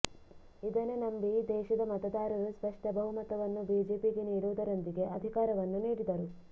ಇದನ್ನು ನಂಬಿ ದೇಶದ ಮತದಾರರು ಸ್ಪಷ್ಟ ಬಹುಮತವನ್ನು ಬಿಜೆಪಿಗೆ ನೀಡುವು ದರೊಂದಿಗೆ ಅಧಿಕಾರವನ್ನು ನೀಡಿದರು